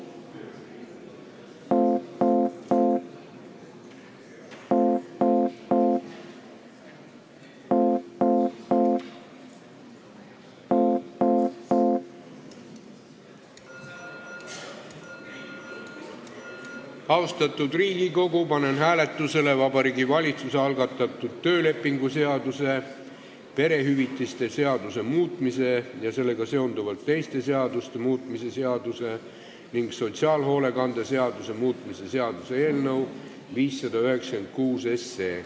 Austatud Riigikogu, panen hääletusele Vabariigi Valitsuse algatatud töölepingu seaduse, perehüvitiste seaduse muutmise ja sellega seonduvalt teiste seaduste muutmise seaduse ning sotsiaalhoolekande seaduse muutmise seaduse eelnõu 596.